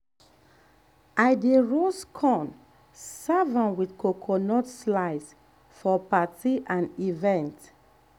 i dey roast corn serve am with coconut slice for party and event.